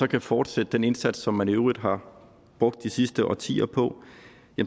kan fortsætte den indsats som man i øvrigt har brugt de sidste årtier på